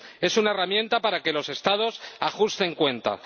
Es una herramienta para que los Estados ajusten cuentas.